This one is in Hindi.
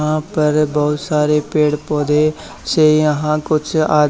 आ पर बहोत सारे पेड़ पौधे से यहां कुछ आ--